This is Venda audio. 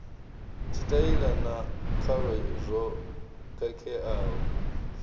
tshitaila na khalo zwo khakheaho